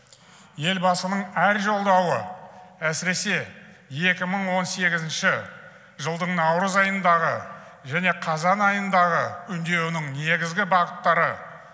елбасының әр жолдауы әсіресе екі мың он сегізінші жылдың наурыз айындағы және қазан айындағы үндеуінің негізгі бағыттары